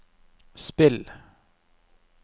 spill